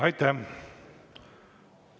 Aitäh!